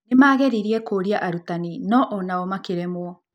Nĩ maageririe kũũria arutani, no o nao makĩremwo.